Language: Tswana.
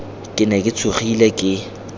ke ne ke tshogile ke